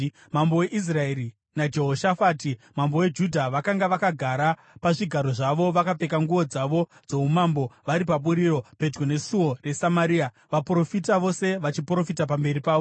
Mambo weIsraeri naJehoshafati, mambo weJudha, vakanga vakagara pazvigaro zvavo vakapfeka nguo dzavo dzoumambo vari paburiro, pedyo nesuo reSamaria, vaprofita vose vachiprofita pamberi pavo.